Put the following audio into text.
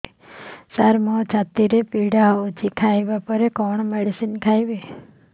ସାର ମୋର ଛାତି ପୀଡା ହଉଚି ଖାଇବା ପରେ କଣ ମେଡିସିନ ଖାଇବି